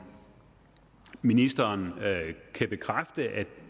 ministeren kan bekræfte at